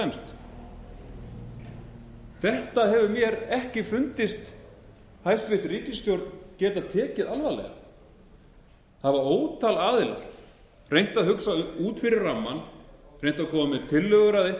fremst þetta hefur mér ekki fundist hæstvirt ríkisstjórn tekið alvarlega hafa ótal aðilar reynt að hugsa út fyrir rammann reynt að koma með tillögur að einhvers